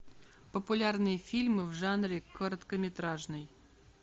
популярные фильмы в жанре короткометражный